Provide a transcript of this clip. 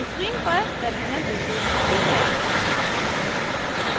screen पर terminal window दिखती है